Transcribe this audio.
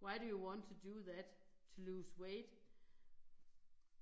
Why do you want to do that? To lose weight.